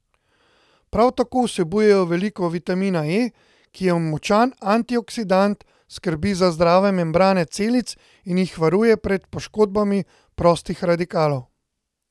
Prav tako vsebujejo veliko vitamina E, ki je močan antioksidant, skrbi za zdrave membrane celic in jih varuje pred poškodbami prostih radikalov.